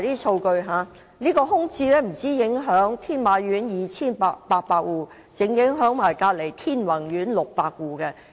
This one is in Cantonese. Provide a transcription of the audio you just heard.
商鋪空置不單影響天馬苑的2800戶家庭，更影響鄰近天宏苑的600戶家庭。